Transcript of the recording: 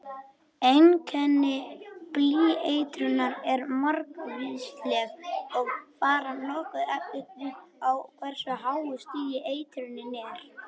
Einkenni blýeitrunar eru margvísleg og fara nokkuð eftir því á hversu háu stigi eitrunin er.